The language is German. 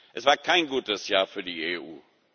Es war kein gutes Jahr für die EU.